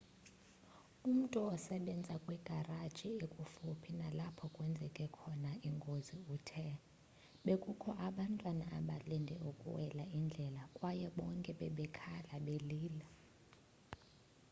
umntu osebenza kwigaraji ekufuphi nalapho kwenzeke khona ingozi uthe bekukho abantwana abalinde ukuwela indlela kwaye bonke bebekhala belila